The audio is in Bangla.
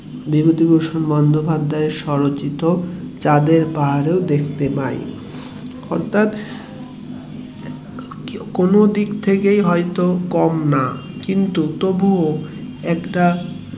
বিভূতিভূষণ বন্দোপাধ্যায়ের স্বরচিত চাঁদের পাহাড়েও দেখতে পাই অর্থাৎ কোনোদিক থেকেই হয়তো কম না কিন্তু তবুও